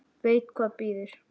Veit hvað bíður.